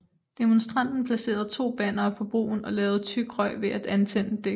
Demonstranten placerede to bannere på broen og lavede tyk røg ved at antænde dæk